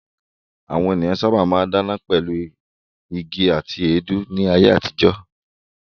Àwọn ènìyàn sábà máa ń dáná pẹ̀lú igi àti èédú ní ayé àtijọ́.